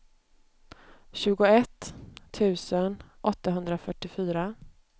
tjugoett tusen åttahundrafyrtiofyra